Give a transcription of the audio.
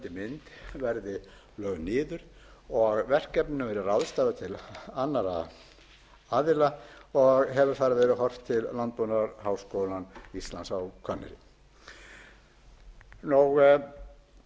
mynd verði lögð niður og verkefnum verði ráðstafað til annarra aðila og hefur þar verið horft til landbúnaðarháskóla íslands á hvanneyri eins og